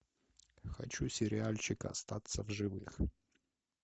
хочу сериальчик остаться в живых